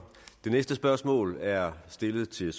det næste spørgsmål er stillet til